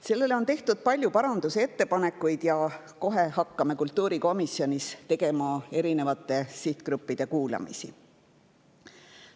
Sellele on tehtud palju parandusettepanekuid ja kohe hakkame kultuurikomisjonis tegema eri sihtgruppide kuulamisi.